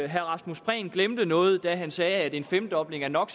herre rasmus prehn glemte noget da han sagde at en femdobling af